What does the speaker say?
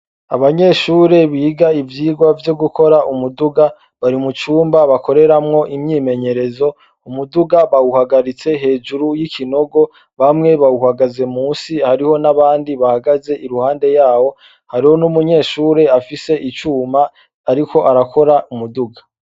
Abanyeshure biga ivyigwa vyo gukora umuduga bari mu cumba bakoreramwo imyimenyerezo ,umuduga bawuhagaritse hejuru y'ikinogo bamwe bawuhagaze munsi, hariho n'abandi bahagaze iruhande yawo, hariho n'umunyeshure afise icuma ariko arakora umuduga .